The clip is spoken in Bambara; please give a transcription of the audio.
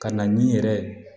Ka na ni yɛrɛ ye